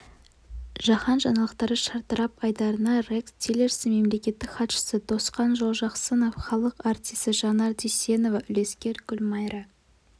жаһан жаңалықтары шартарап айдарында рекс тиллерсон мемлекеттік хатшысы досхан жолжақсынов халық артисі жанар дүйсенова үлескер гүлмайра